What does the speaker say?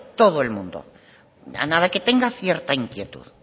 todo el mundo a nada que tenga cierta inquietud